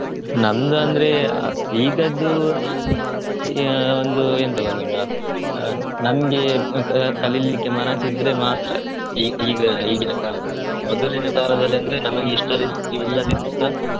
ನಂಗಂದ್ರೆ ಆ ಈಗದ್ದು ಆಹ್ ಒಂದು ಎಂತ ಗೊತ್ತುಂಟ ಆ ನಮ್ಗೆ ಕಲಿಲಿಕ್ಕೆ ಮನಸಿದ್ರೆ ಮಾತ್ರ. ಈಗ ಈಗಿನ ಕಾಲದಲ್ಲಿ ಮೊದಲಿನ ಕಾಲದಲ್ಲಿ ಅಂದ್ರೆ ನಮಿಗೆ ಇಷ್ಟ ಇಲ್ಲದಿದ್ರು ಸ